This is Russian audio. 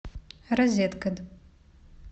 розеткед